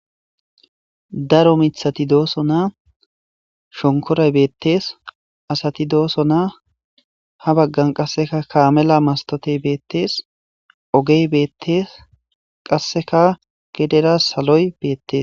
daro mithati dooso naa shonkoray beettees asati dooso naa ha baggan qasseka kaamela mastotey beettees ogey beettees qasseka gedera saloy beettes